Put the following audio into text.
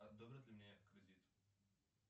одобрят ли мне кредит